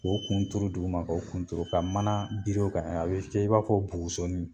K'o kun turu duguma ka o kun turu ka mana biri o kan a be kɛ i n'a fɔ bugusoni